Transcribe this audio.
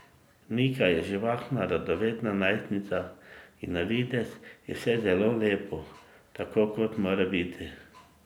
Nika je živahna, radovedna najstnica in na videz je vse zelo lepo, tako kot mora biti.